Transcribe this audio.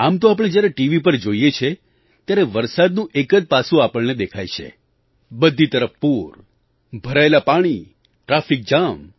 આમ તો આપણે જ્યારે ટીવી પર જોઈએ છે ત્યારે વરસાદનું એક જ પાસું આપણને દેખાય છે બધી તરફ પૂર ભરાયેલાં પાણી ટ્રાફિક જામ